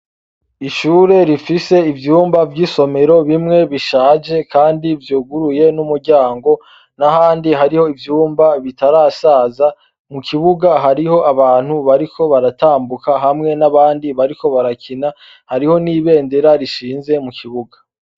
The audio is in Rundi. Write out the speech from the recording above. Ishure rifise ivyumba vy'isomero bimwe bishaje kandi vyuguruye n'umuryango, n'ahandi hariho ivyumba bitarasaza, mu kibuga hariho abantu bariko baratambuka hamwe n'abandi bariko barakina, hariho n'ibendera rishinze mu kibuga.